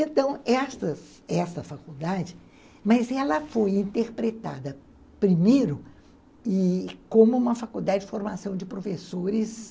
Então, essa essa faculdade, mas ela foi interpretada primeiro como uma faculdade de formação de professores,